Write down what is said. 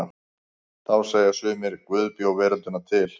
Þá segja sumir: Guð bjó veröldina til.